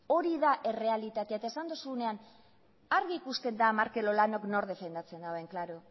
hori da errealitatea eta esan dozunean argi ikusten da markel olanok nork defendatzen dauen klaro